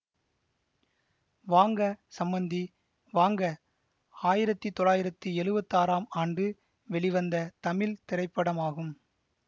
வாங்க சம்மந்தி வாங்க ஆயிரத்தி தொள்ளாயிரத்தி எழுவத்தி ஆறாம் ஆண்டு வெளிவந்த தமிழ் திரைப்படமாகும்